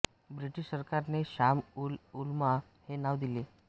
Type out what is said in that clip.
British सरकारने शाम उल उलमा हे नाव दिले